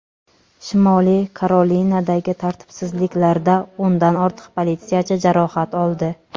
Shimoliy Karolinadagi tartibsizliklarda o‘ndan ortiq politsiyachi jarohat oldi.